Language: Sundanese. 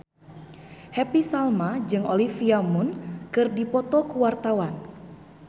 Happy Salma jeung Olivia Munn keur dipoto ku wartawan